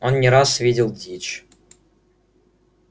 он не раз видел дичь